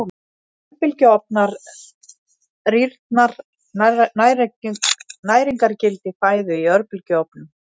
Örbylgjuofnar Rýrnar næringargildi fæðu í örbylgjuofnum?